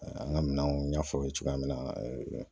An ka minɛnw n ɲ'a fɔ aw ye cogoya min na